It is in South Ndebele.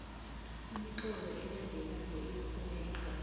imitlolo elandelako iyafuneka